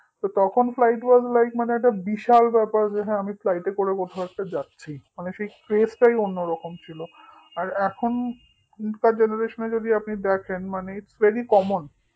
তখন flightlige এ মানে একটা বিশাল ব্যাপার যে হ্যাঁ আমি flight এ করে কোথাও একটা যাচ্ছি মানে সেই craze টাই অন্যরকম ছিল আর এখনকার generation এ যদি আপনি দেখেন মানে itsverycommon